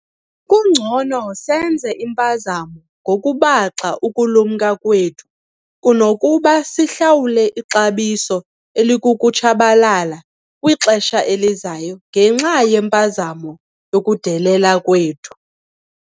Kungcono senze impazamo ngokubaxa ukulumka kwethu kunokuba sihlawule ixabiso elikukutshabalala kwixesha elizayo ngenxa yempazamo yokudelela kwethu.